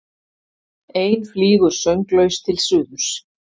Ein flýgur sönglaus til suðurs.